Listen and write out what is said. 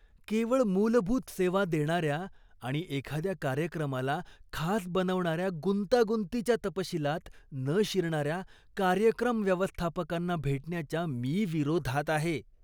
केवळ मूलभूत सेवा देणाऱ्या आणि एखाद्या कार्यक्रमाला खास बनवणाऱ्या गुंतागुंतीच्या तपशिलात न शिरणाऱ्या कार्यक्रम व्यवस्थापकांना भेटण्याच्या मी विरोधात आहे.